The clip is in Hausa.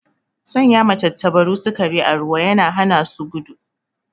Sanya ma tantabaru sikari a ruwa yana hana su gudu